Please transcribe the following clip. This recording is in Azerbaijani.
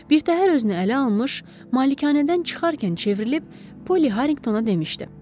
Birtəhər özünü ələ almış, malikanədən çıxarkən çevrilib, Polli Harinqtona demişdi: